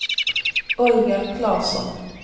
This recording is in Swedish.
Olga Klasson